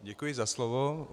Děkuji za slovo.